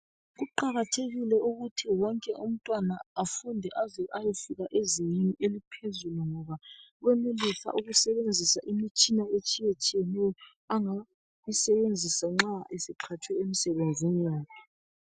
Kuqakathekile ukuthi wonke umntwana afunde aze ayefika ezingeni eliphezulu ngoba wenelisa ukusebenzisa imitshina etshiyetshiyeneyo angayisebenzisa nxa eseqhatshwe emsebenzini yakhe.